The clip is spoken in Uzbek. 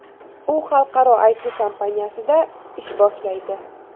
U xalqaro IT kompaniyasida ish boshlaydi.